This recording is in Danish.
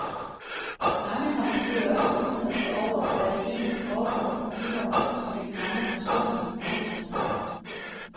Mange har måske også undret sig over, hvad der egentlig foregår på muren med de mange personer i bronze.